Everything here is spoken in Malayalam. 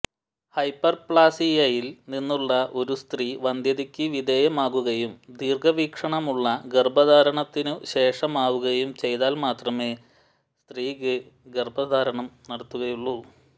ഹൈപ്പർ പ്ലാസിയയിൽ നിന്നുള്ള ഒരു സ്ത്രീ വന്ധ്യതയ്ക്ക് വിധേയമാകുകയും ദീർഘവീക്ഷണമുള്ള ഗർഭധാരണത്തിനു ശേഷമാവുകയും ചെയ്താൽ മാത്രമേ സ്ത്രീക്ക് ഗർഭധാരണം നടത്തുകയുള്ളൂ